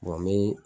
n bɛ